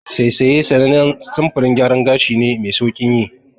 Saisaye sanannen samfurin gyaran gashi ne me sauƙin yi.